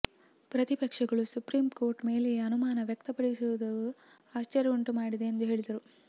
ಪ್ರತಿಪಕ್ಷಗಳು ಸುಪ್ರೀಂಕೋರ್ಟ್ ಮೇಲೆಯೇ ಅನುಮಾನ ವ್ಯಕ್ತಪಡಿಸುತ್ತಿರುವುದು ಆಶ್ಚರ್ಯ ಉಂಟು ಮಾಡಿದೆ ಎಂದು ಹೇಳಿದ್ದಾರೆ